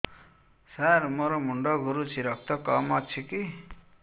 ସାର ମୋର ମୁଣ୍ଡ ଘୁରୁଛି ରକ୍ତ କମ ଅଛି କି